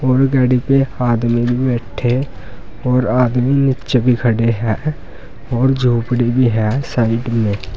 और गाड़ी पे आदमी बैठे और आदमी नीचे भी खड़े हैं और झोपड़ी भी है साइड में।